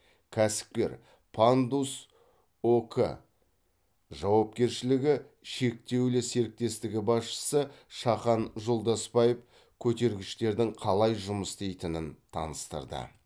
кәсіпкер пандус ок жауапкершілігі шектеулі серіктестігі басшысы шахан жолдасбаев көтергіштердің қалай жұмыс істейтінін таныстырды